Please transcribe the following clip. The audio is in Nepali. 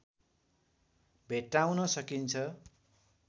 भेट्टाउन सकिन्छ